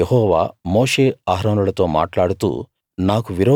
ఇంకా యెహోవా మోషే అహరోనులతో మాట్లాడుతూ